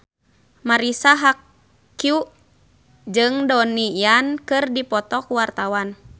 Marisa Haque jeung Donnie Yan keur dipoto ku wartawan